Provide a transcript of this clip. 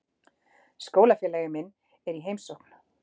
Skólafélagi minn er í heimsókn.